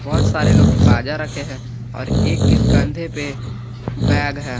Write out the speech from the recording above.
बहुत सारे लोग बाजा रखे हैं और एक एक कंधे पे बैग है।